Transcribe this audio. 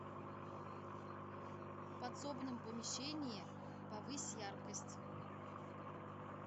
в подсобном помещении повысь яркость